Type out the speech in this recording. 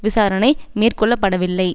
விசாரணை மேற்கொள்ளப்படவில்லை